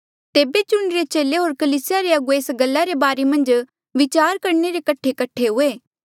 तेबे चुणिरे चेले होर कलीसिया रे अगुवे एस गल्ला रे बारे मन्झ विचार करणे रे कठे कठे हुए